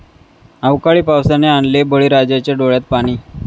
अवकाळी पावसाने आणले बळीराजाच्या डोळ्यात पाणी!